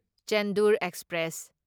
Chendur express